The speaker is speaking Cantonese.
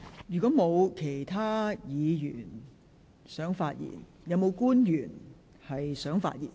如果沒有議員想發言，是否有官員想發言？